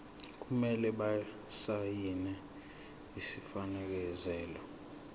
kumele basayine isifakazelo